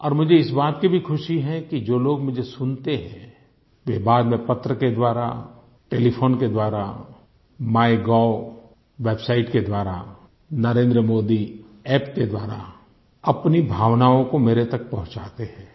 और मुझे इस बात की भी खुशी है कि जो लोग मुझे सुनते हैं वे बाद में पत्र के द्वारा टेलीफोन के द्वारा माइगोव वेबसाइट के द्वारा नरेंद्र मोदी अप्प के द्वारा अपनी भावनाओं को मेरे तक पहुंचाते हैं